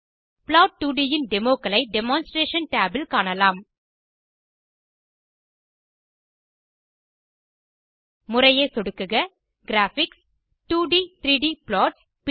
plot2ட் இன் டெமோ களை demonstration tab இல் காணலாம் முறையே சொடுக்குக கிராபிக்ஸ் 2d 3d ப்ளாட்ஸ்